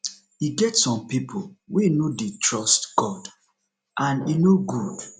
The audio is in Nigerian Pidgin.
e get some people wey no dey trust god and e no good